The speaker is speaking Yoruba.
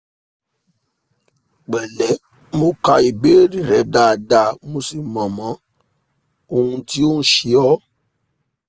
pẹ̀lẹ́ mo ka ìbéèrè rẹ dáadáa mo sì mọ mọ ohun tí ò ń ṣe ọ́